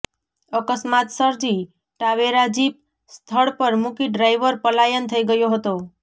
અકસ્માત સર્જી ટાવેરાજીપ સ્થળ પર મૂકી ડ્રાઈવર પલાયન થઈ ગયો હતો